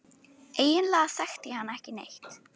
Eiginlega þekkti ég hann ekki neitt.